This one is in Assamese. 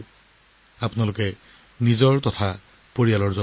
তেতিয়ালৈকে আপোনালোকেও আপোনালোকৰ পৰিয়ালৰ যত্ন লওক